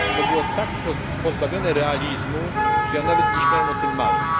Było to tak pozbawione realizmu, że nawet nie śmiałem o tym marzyć.